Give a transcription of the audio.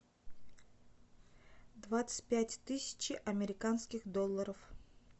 двадцать пять тысяч американских долларов